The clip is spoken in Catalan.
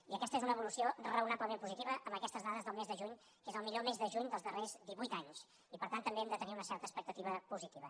i aquesta és una evolució raonablement positiva amb aquestes dades del mes de juny que és el millor mes de juny dels darrers divuit any i per tant també hem de tenir una certa expectativa positiva